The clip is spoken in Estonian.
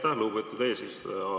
Aitäh, lugupeetud eesistuja!